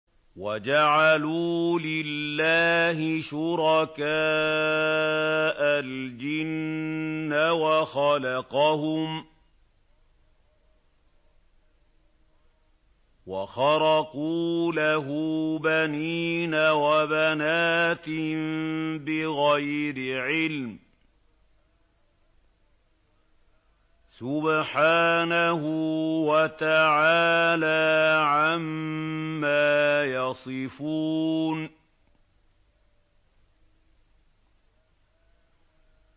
وَجَعَلُوا لِلَّهِ شُرَكَاءَ الْجِنَّ وَخَلَقَهُمْ ۖ وَخَرَقُوا لَهُ بَنِينَ وَبَنَاتٍ بِغَيْرِ عِلْمٍ ۚ سُبْحَانَهُ وَتَعَالَىٰ عَمَّا يَصِفُونَ